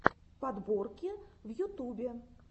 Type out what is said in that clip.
подборки в ютубе